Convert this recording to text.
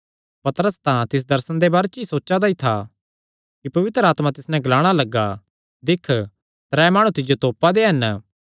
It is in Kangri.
पतरस तां तिस दर्शने दे बारे च सोचा दा ई था कि पवित्र आत्मा तिस नैं ग्लाणा लग्गा दिक्ख त्रै माणु तिज्जो तोपा दे हन